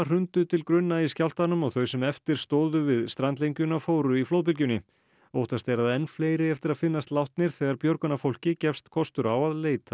hrundu til grunna í skjálftanum og þau sem eftir stóðu við strandlengjuna fóru í flóðbylgjunni óttast er að enn fleiri eigi eftir að finnast látnir þegar björgunarfólki gefst kostur á að leita